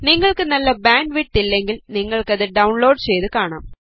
നിങ്ങൾക്ക് നല്ല bandwidth ഇല്ലെങ്കിൽ നിങ്ങൾക്ക് അത് ഡൌൺലോഡ് ചെയ്ത് കാണാം